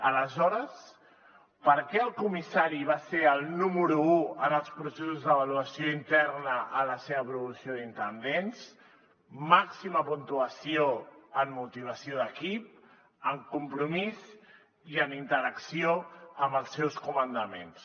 aleshores per què el comissari va ser el número u en els processos d’avaluació interna a la seva promoció d’intendents màxima puntuació en motivació d’equip en compromís i en interacció amb els seus comandaments